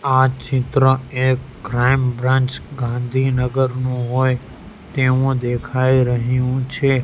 આ ચિત્ર એક ક્રાઇમ બ્રાન્ચ ગાંધીનગરનું હોય તેવું દેખાય રહું છે.